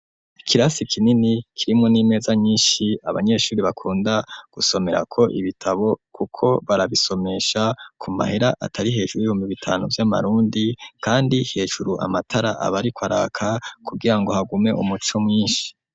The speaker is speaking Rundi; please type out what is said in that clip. Ikirasi kinini kirimwo n'imeza nyishi abanyeshuri bakunda gusomerako ibitabo kuko barabisomesha ku mahera atari hejuru ibihumbi bitanu vy'amarundi kandi hejuru amatara abariko araka kugirango hagume umuco mwishi.